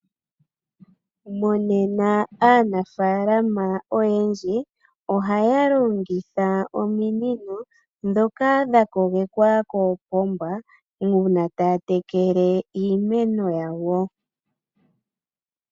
Monena aanafalama oyendji, ohaya longitha ominino, ndhoka dha kogekwa koopomba, uuna taya tekele iimeno yawo.